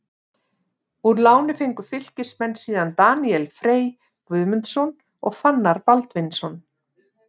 Úr láni fengu Fylkismenn síðan Daníel Frey Guðmundsson og Fannar Baldvinsson.